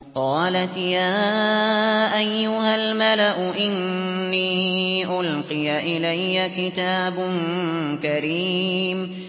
قَالَتْ يَا أَيُّهَا الْمَلَأُ إِنِّي أُلْقِيَ إِلَيَّ كِتَابٌ كَرِيمٌ